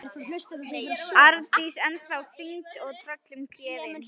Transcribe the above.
Arndís ennþá týnd og tröllum gefin.